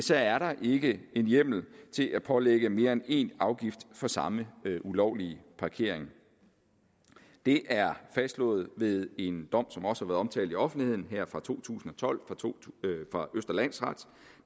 der ikke en hjemmel til at pålægge mere end én afgift for samme ulovlige parkering det er fastslået ved en dom som også omtalt i offentligheden fra to tusind og tolv fra østre landsret